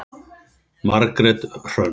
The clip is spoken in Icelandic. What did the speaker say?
Margrét Hrönn.